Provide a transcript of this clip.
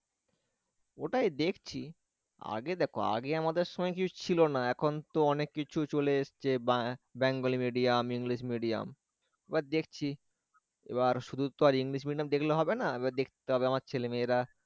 ওটাই দেখছি আগে দেখো আগে আমাদের সময় কিছু ছিল না এখন তো অনেককিছু চলে এসেছে বা bengali medium english medium এবার দেখছি এবার শুধু তো আর english medium দেখলে হবে না এবার দেখতে হবে আমাদের ছেলেমেয়েরা,